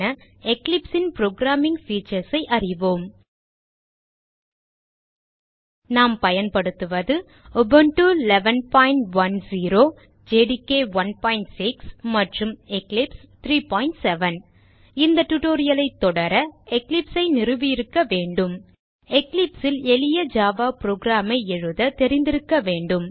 Eclipse ன் programming features ஐ அறிவோம் நாம் பயன்படுத்துவது உபுண்டு 110 ஜேடிகே 16 மற்றும் எக்லிப்ஸ் 370 இந்த tutorial ஐ தொடர Eclipse ஐ நிறுவியிருக்க வேண்டும் Eclipse ல் எளிய ஜாவா program ஐ எழுத தெரிந்திருக்க வேண்டும்